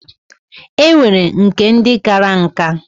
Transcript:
E nwere nke ndi kara nka.